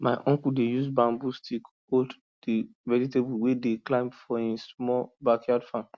my uncle dey use bamboo stick hold di vegetables wey dey climb for hin small backyard farm